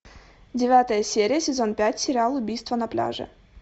девятая серия сезон пять сериал убийство на пляже